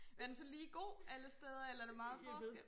Er den så lige god alle steder eller er der meget forskel?